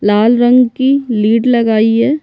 लाल रंग की लीड लगाई है।